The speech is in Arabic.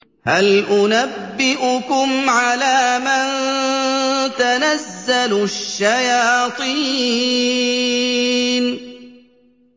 هَلْ أُنَبِّئُكُمْ عَلَىٰ مَن تَنَزَّلُ الشَّيَاطِينُ